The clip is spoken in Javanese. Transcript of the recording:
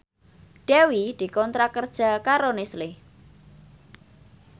Dewi dikontrak kerja karo Nestle